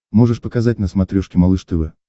можешь показать на смотрешке малыш тв